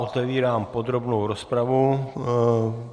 Otevírám podrobnou rozpravu.